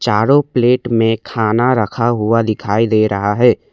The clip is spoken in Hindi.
चारों प्लेट में खाना रखा हुआ दिखाई दे रहा है।